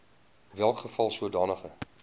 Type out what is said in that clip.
welke geval sodanige